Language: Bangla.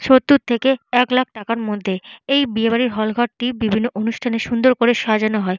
সত্তর থেকে এক লাখ টাকার মধ্যে । এই বিয়ে বাড়ির হল ঘরটি বিভিন্ন অনুষ্ঠানে সুন্দর করে সাজানো হয়।